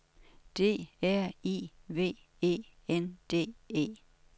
D R I V E N D E